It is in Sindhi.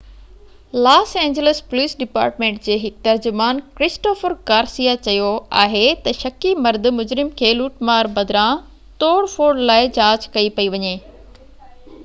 لاس اينجلس پوليس ڊپارٽمينٽ جي هڪ ترجمان ڪرسٽوفر گارسيا چيو آهي ته شڪي مرد مجرم کي لوٽ مار بدران توڙ ڦوڙ لاءِ جاچ ڪئي پئي وڃي